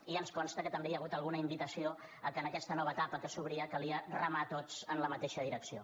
i ens consta que també hi ha hagut alguna invitació que en aquesta nova etapa que s’obria calia remar tots en la mateixa direcció